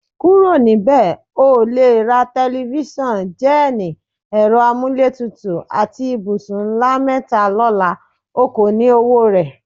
Kúrò̩ níbè̩! O ò lè ra te̩lifís̩àn, jé̩è̩nì, è̩ro̩ amúlétutù àti ibùsùn ńlá mé̩ta ló̩la; o kò ní owó rè̩.